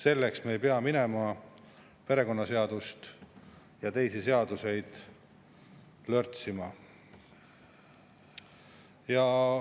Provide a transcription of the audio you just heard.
Me ei pea minema perekonnaseadust ja teisi seadusi lörtsima.